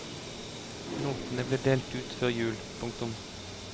Notene ble delt ut før jul. punktum